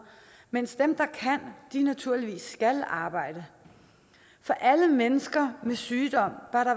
mens dem der kan naturligvis skal arbejde for alle mennesker med sygdom bør